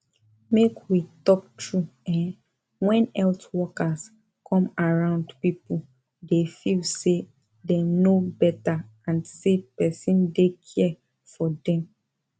make we talk true[um]when health workers come around people dey feel say dem know better and say person dey care for dem